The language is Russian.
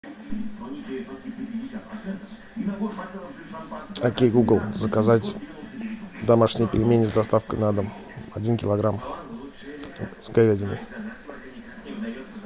окей гугл заказать домашние пельмени с доставкой на дом один килограмм с говядиной